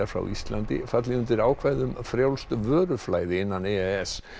frá Íslandi falli undir ákvæði um frjálst vöruflæði innan e e s